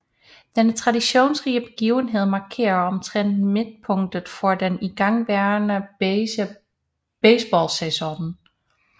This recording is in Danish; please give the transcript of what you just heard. Denne traditionsrige begivenhed markerer omtrent midtpunktet for den igangværende baseballsæson